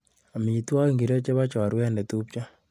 Amitwakik ngiro chebo chorwet ne tipchoo?